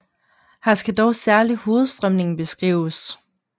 Her skal dog særligt hovedstrømningen beskrives